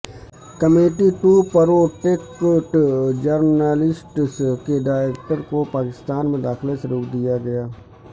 committee to protect journalists کے director کو پاکستان میں داخلے سے روک دیا گیا